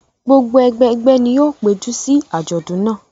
Gbogbo ẹgbẹgbẹ́ ni ó péjọ sí àjọ̀dún náà.